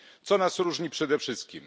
Co nas różni przede wszystkim?